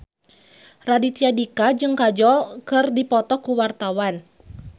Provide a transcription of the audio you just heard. Raditya Dika jeung Kajol keur dipoto ku wartawan